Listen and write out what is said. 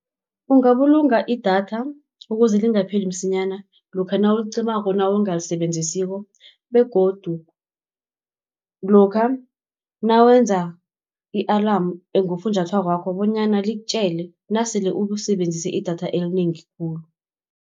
Ungabulunga idatha, ukuze lingapheli msinyana, lokha nawulicimako nawungalisebenzisiko, begodu lokha nawenza, i-alarm ekufunjathwako wakho bonyana likutjele nasele usebenzise idatha elinengi khulu.